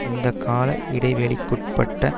இந்த கால இடைவெளிக்குட்பட்ட